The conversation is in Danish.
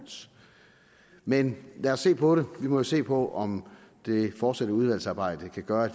men lad os se på det vi må jo se på om det fortsatte udvalgsarbejde kan gøre at